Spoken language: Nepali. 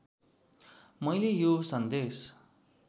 मैले यो सन्देश